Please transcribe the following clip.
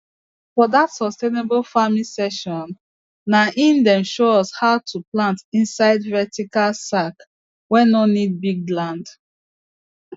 for that sustainable farming session na in dem show us how to plant inside vertical sack wey no need big land